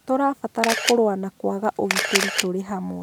Tũrabatara kũrũa na kwaga ũgitĩri tũrĩ hamwe